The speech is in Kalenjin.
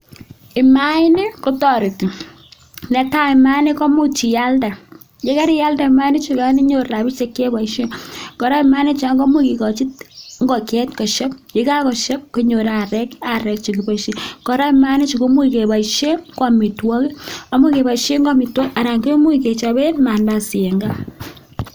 Imainik kotoreti netai mainik koimuch ialde, yekerialde mainichukan inyoru rabiishek cheboishen, kora mainichu koimuch kikoi ing'okiet kosieb, yekakosieb konyor areek areek chekiboishen, kora mainichu koimuch keboishen ko amitwokik amun keboishen ko amitwokik anan kimuch kecjhoben mandasi en kaa.